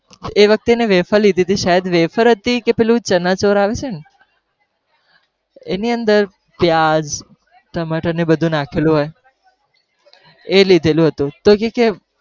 એ વખતે એને વેફર લીધી હતી, કે શાયદ વેફર હતી કે પેલું ચના ચોર આવે છે ને, એની અંદર પ્યાઝ, ટમાટર, ને બધુ નાખેલું હોય એ લીધેલુ હતું. તો કહે કે